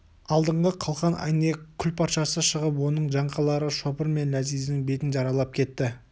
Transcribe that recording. алдыңғы қалқан әйнек күлпаршасы шығып оның жаңқалары шопыр мен ләзиздің бетін жаралап кетті